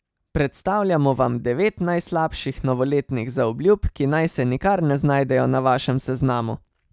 Predstavljamo vam devet najslabših novoletnih zaobljub, ki naj se nikar ne znajdejo na vašem seznamu!